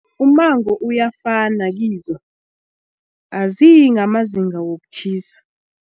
Umango uyafana kizo aziyi ngamazinga wokutjhisa.